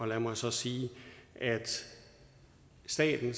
lad mig så sige at staten